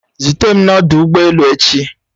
Zute m n'ọdụ ụgbọ elu echi!